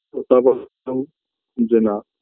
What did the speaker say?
ও তারপর বলল যে না